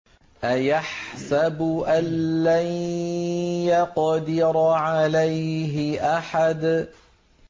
أَيَحْسَبُ أَن لَّن يَقْدِرَ عَلَيْهِ أَحَدٌ